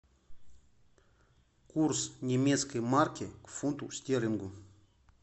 курс немецкой марки к фунту стерлингу